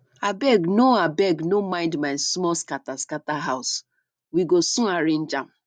abeg no abeg no mind my small scatter scatter house we go soon arrange am